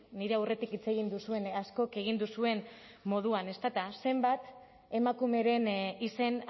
nire aurretik hitz egin duzuen askok egin duzuen moduan ezta zenbat emakumeren izen